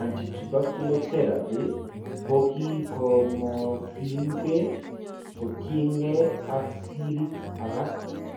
Anti tubercular theraphy kokokimokyinkee kotiengee ak sirik alak